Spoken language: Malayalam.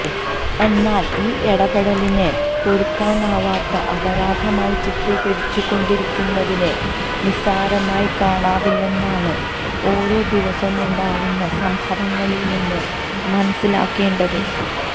എന്നാല് ഈ ഇടപെടലിനെ പൊറുക്കാനാവാത്ത അപരാധമായി ചിത്രീകരിച്ചു കൊണ്ടിരിക്കുന്നതിനെ നിസ്സാരമായി കാണാനാവില്ലെന്നാണ് ഓരോ ദിവസവുമുണ്ടാവുന്ന സംഭവങ്ങളില്നിന്ന് മനസിലാക്കേണ്ടത്